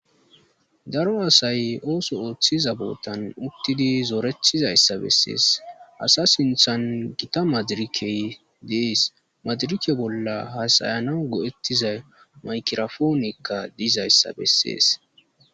daro asay ooso ooththiza bootan uttidi zoorethizayssa bessees asa sinthan gita madirikey dees madrike bolla hasayana go7ettiza maykirofoonikka diizayssa bessees